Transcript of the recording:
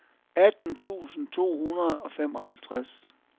atten tusind to hundrede og femoghalvtreds